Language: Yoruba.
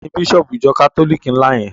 Tani Bísọ̀bù ìjọ kátólìkì ńlá yẹn?